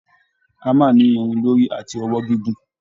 Hammer ni irin lórí àti ọwọ́ gígùn.